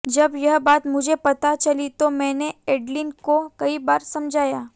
जब यह बात मुझे पता चली तो मैंने एडलिन को कई बार समझाया